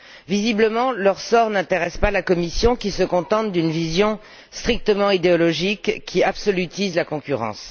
Visiblement, leur sort n'intéresse pas la Commission, qui se contente d'une vision strictement idéologique qui absolutise la concurrence.